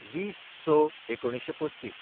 २०/०६/१९३५